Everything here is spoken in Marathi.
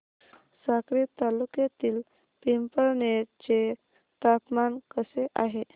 साक्री तालुक्यातील पिंपळनेर चे तापमान कसे आहे